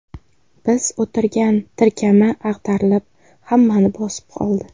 Biz o‘tirgan tirkama ag‘darilib hammani bosib qoldi.